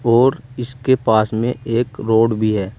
और इसके पास में एक रोड भी है।